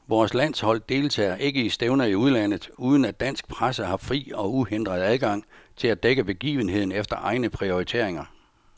Vores landshold deltager ikke i stævner i udlandet, uden at dansk presse har fri og uhindret adgang til at dække begivenheden efter egne prioriteringer.